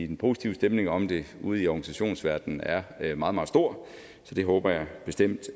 den positive stemning om det ude i organisationsverdenen er er meget meget stor så det håber jeg bestemt